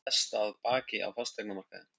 Það versta að baki á fasteignamarkaði